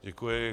Děkuji.